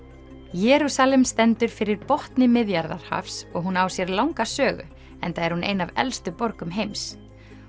Jerúsalem stendur fyrir botni Miðjarðarhafs og hún á sér langa sögu enda er hún ein af elstu borgum heims